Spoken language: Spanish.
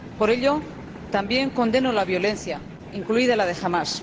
Por ello, también condeno la violencia, incluida la de Hamás.